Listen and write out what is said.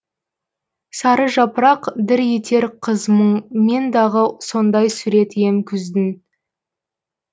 сары жапырақ дір етер қыз мұң мен дағы сондай суреті ем күздің